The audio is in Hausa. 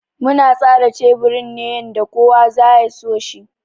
Muna tsara teburin ne yanda kowa za ya so shi.